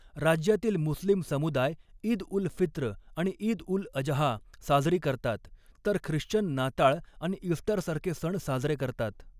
राज्यातील मुस्लिम समुदाय ईद उल फित्र आणि ईद उल अजहा साजरी करतात, तर ख्रिश्चन नाताळ आणि ईस्टरसारखे सण साजरे करतात.